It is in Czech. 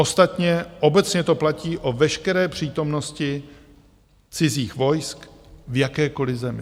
Ostatně obecně to platí o veškeré přítomnosti cizích vojsk v jakékoliv zemi.